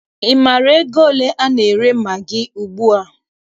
Ị maara ego ole a na-ere magị ugbua?